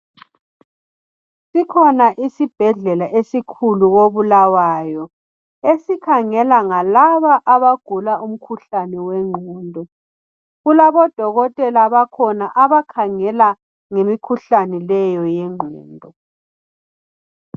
Sikhona isibhedlela esikhulu kobulawayo esikhangela ngalaba abagula umkhuhlane wengqondo kulabo dokotela bakhona abakhangela ngemikhuhlane leyo yengqondo.